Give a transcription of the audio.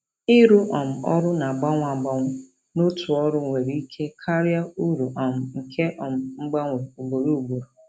Ịrụ um ọrụ na-agbanwe agbanwe n'otu ọrụ nwere ike karịa uru um nke um mgbanwe ugboro ugboro.